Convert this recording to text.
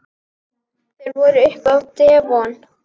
Þeir voru uppi á devon.